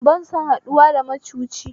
Ba san haɗuwa da macuci